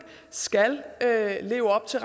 skal leve op til